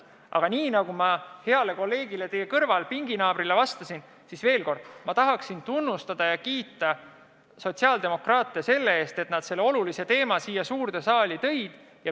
Aga nagu ma heale kolleegile teie kõrval, teie pinginaabrile vastasin, ütlen veel kord: ma tahan tunnustada ja kiita sotsiaaldemokraate selle eest, et nad selle olulise teema siia suurde saali tõid.